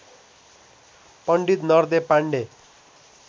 Pandit Nardev Pandey